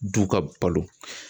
Du ka balo